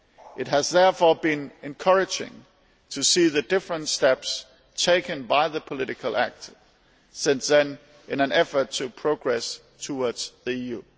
It has therefore been encouraging to see the different steps taken by the political actors since then in an effort to progress towards the EU.